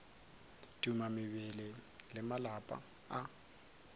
tuma mebele le malapa a